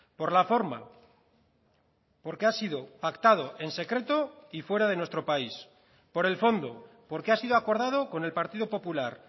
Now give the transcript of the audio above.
por la forma porque ha sido pactado en secreto y fuera de nuestro país por el fondo porque ha sido acordado con el partido popular